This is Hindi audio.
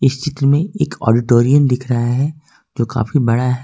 इस चित्र में एक ऑडिटोरियम दिख रहा है जो काफी बड़ा है।